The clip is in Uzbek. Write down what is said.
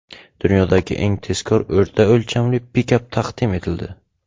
Dunyodagi eng tezkor o‘rta o‘lchamli pikap taqdim etildi.